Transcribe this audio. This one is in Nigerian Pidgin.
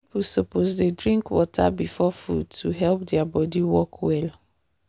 people suppose dey drink water before food to help their body work well.